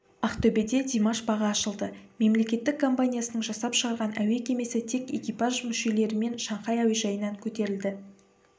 ақтөбеде димаш бағы ашылды мемлекеттік компаниясының жасап шығарған әуе кемесі тек экипаж мүшелерімен шанхай әуежайынан көтерілді